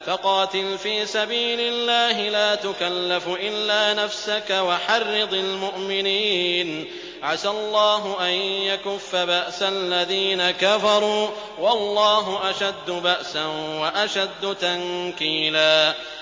فَقَاتِلْ فِي سَبِيلِ اللَّهِ لَا تُكَلَّفُ إِلَّا نَفْسَكَ ۚ وَحَرِّضِ الْمُؤْمِنِينَ ۖ عَسَى اللَّهُ أَن يَكُفَّ بَأْسَ الَّذِينَ كَفَرُوا ۚ وَاللَّهُ أَشَدُّ بَأْسًا وَأَشَدُّ تَنكِيلًا